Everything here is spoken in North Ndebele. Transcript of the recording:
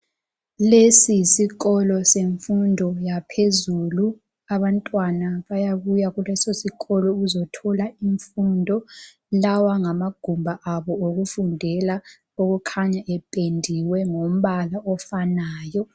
Lesi yisikolo semfundo yaphezulu abantwana bayabuya kulesisikolo ukuzothola imfundo. Lawa ngamagumbi abo okufundela okukhanya ependiwe ngombala ofanayo.